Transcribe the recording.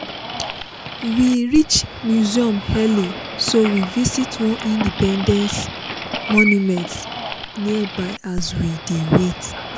we reach museum early so we visit one independence monument nearby as we dey wait.